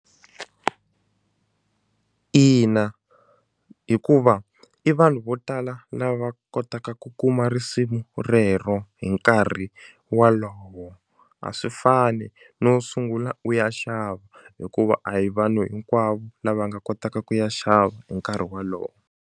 Ina, hikuva i vanhu vo tala lava kotaka ku kuma risimu rero hi nkarhi walowo a swi fani no sungula u ya xava hikuva a hi vanhu hinkwavo lava nga kotaka ku ya xava hi nkarhi wolowo.